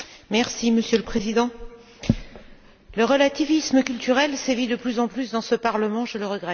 Monsieur le Président, le relativisme culturel sévit de plus en plus dans ce Parlement, je le regrette.